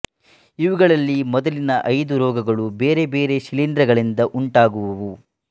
ಇವುಗಳಲ್ಲಿ ಮೊದಲಿನ ಐದು ರೋಗಗಳು ಬೇರೆ ಬೇರೆ ಶಿಲೀಂಧ್ರಗಳಿಂದ ಉಂಟಾಗುವುವು